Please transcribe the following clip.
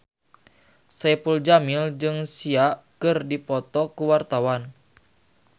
Saipul Jamil jeung Sia keur dipoto ku wartawan